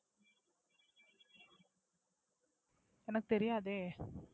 எனக்கு தெரியாதே.